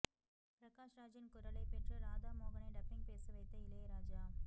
பிரகாஷ்ராஜின் குரலை பெற்று ராதா மோகனை டப்பிங் பேச வைத்த இளையராஜா